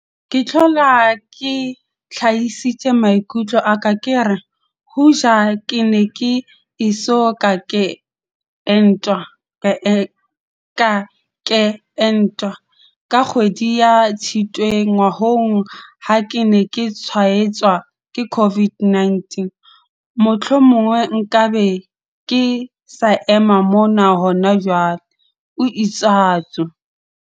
"Ke hlola ke hlahisitse maikutlo a ka ke re, hoja ke ne ke eso ka ke entwa, ka kgwedi ya Tshitwe ngwahola ha ke ne ke tshwaetswa ke COVID-19, mohlomong nka be ke sa ema mona hona jwale," o itsatso.